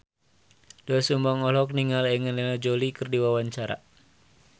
Doel Sumbang olohok ningali Angelina Jolie keur diwawancara